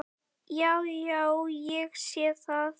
Já, já. ég sé það.